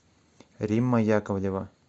римма яковлева